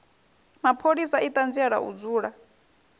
mapholisa i ṱanzielaho u dzula